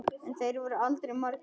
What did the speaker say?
En þeir voru aldrei margir.